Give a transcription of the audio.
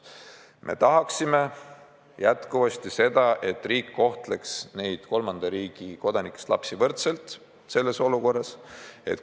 Me tahaksime jätkuvasti seda, et riik kohtleks neid kolmanda riigi kodanikest lapsi võrdselt teistega.